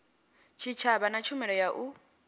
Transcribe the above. tshitshavha na tshumelo ya u